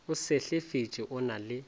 o sehlefetše o na le